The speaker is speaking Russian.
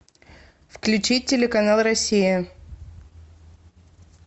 включи телеканал россия